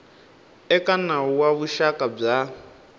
eka nawu wa vuxaka bya